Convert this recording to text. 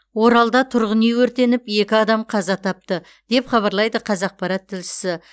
оралда тұрғын үй өртеніп екі адам қаза тапты деп хабарлайды қазақпарат тілшісі